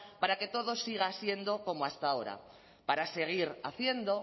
para que todo siga siendo como hasta ahora para seguir haciendo